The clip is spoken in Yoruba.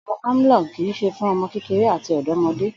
Ògùn Amlong kì í s̩e fún o̩mo̩ kékeré àti ò̩dó̩mo̩dé